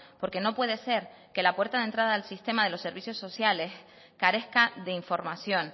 porque no puede ser que la puerta de entrada al sistema de los servicios sociales carezca de información